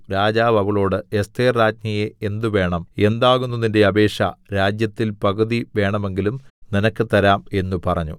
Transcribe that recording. രാജാവു അവളോട് എസ്ഥേർ രാജ്ഞിയേ എന്ത് വേണം എന്താകുന്നു നിന്റെ അപേക്ഷ രാജ്യത്തിൽ പകുതി വേണമെങ്കിലും നിനക്ക് തരാം എന്ന് പറഞ്ഞു